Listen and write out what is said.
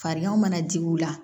Fariganw mana jigin u la